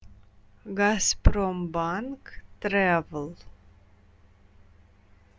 газпромбанк трэвэл